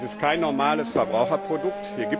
Das ist kein normales Verbraucherprodukt.